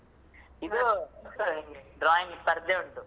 ಇದು ಇಲ್ಲಿ drawing ಸ್ವರ್ಧೆ ಉಂಟು.